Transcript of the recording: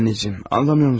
Anacan, anlamırsanmı?